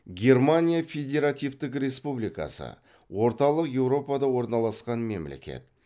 германия федеративтік республикасы орталық еуропада орналасқан мемлекет